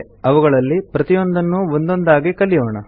ಅವುಗಳಲ್ಲಿ ಪ್ರತಿಯೊಂದನ್ನೂ ಒಂದೊಂದಾಗಿ ಕಲಿಯೋಣ